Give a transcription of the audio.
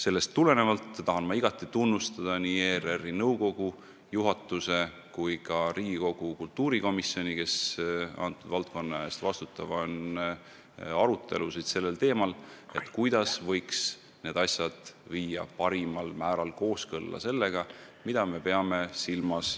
Sellest tulenevalt tahan ma igati tunnustada nii ERR-i nõukogu, juhatust kui ka Riigikogu kultuurikomisjoni, kes selle valdkonna eest vastutavad, sest nad on korraldanud arutelusid selle üle, kuidas võiks need asjad viia parimal määral kooskõlla sellega, mida me mõtleme sõltumatuse ...